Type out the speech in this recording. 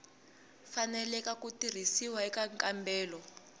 faneleke ku tirhisiwa eka nkambelo